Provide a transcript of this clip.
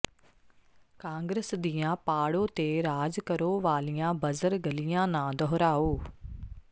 ਕਾਂਗਰਸ ਦੀਆਂ ਪਾੜੋ ਤੇ ਰਾਜ ਕਰੋ ਵਾਲੀਆਂ ਬਜ਼ਰ ਗਲੀਆਂ ਨਾ ਦੁਹਰਾਓ